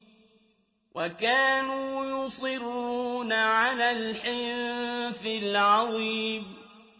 وَكَانُوا يُصِرُّونَ عَلَى الْحِنثِ الْعَظِيمِ